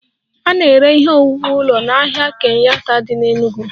A na-ere ihe owuwu ụlọ n'ahịa Kenyatta dị n'Enugwu